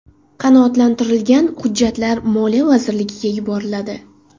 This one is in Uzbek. Qanoatlantirilgan hujjatlar Moliya vazirligiga yuboriladi.